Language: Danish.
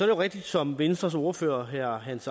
rigtigt som venstres ordfører herre hans